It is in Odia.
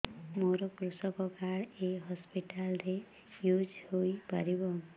ମୋର କୃଷକ କାର୍ଡ ଏ ହସପିଟାଲ ରେ ୟୁଜ଼ ହୋଇପାରିବ